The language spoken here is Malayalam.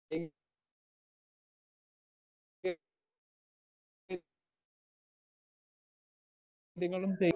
കാര്യങ്ങളും